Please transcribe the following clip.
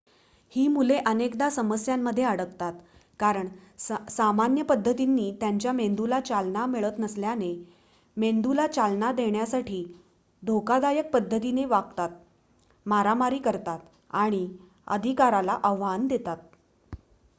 "ही मुले अनेकदा समस्यांमध्ये अडकतात कारण सामान्य पद्धतींनी त्यांच्या मेंदूला चालना मिळत नसल्याने मेंदूला चालना देण्यासाठी ती "धोकादायक पद्धतीने वागतात मारामारी करतात आणि अधिकाराला आव्हान देतात"".